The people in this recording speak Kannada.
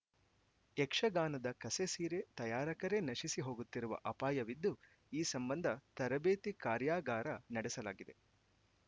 ಯಕ್ಷಗಾನದ ಕಸೆಸೀರೆ ತಯಾರಕರೆ ನಶಿಸಿ ಹೋಗುತ್ತಿರುವ ಅಪಾಯವಿದ್ದು ಈ ಸಂಬಂಧ ತರಬೇತಿ ಕಾರ್ಯಾಗಾರ ನಡೆಸಲಾಗಿದೆ